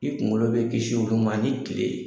I kunkolo bɛ kisi olu ma ani tile.